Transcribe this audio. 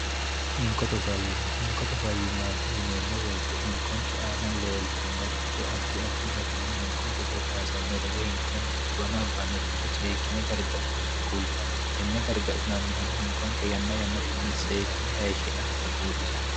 inkote fimmhinkote fayyimmaati yineemmo beete hinkonke aana leeltannoricho addi addi garinni hinkonke goddaasannore woy hinkonkira xiwanaabbannoricho seekkine gargadhinonta kultanno tenne gargadhinannihuno hinkonke yanna yanna tenni seekkine heeshshi'nannita buuxisanno